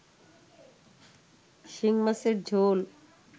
শিংমাছের ঝোল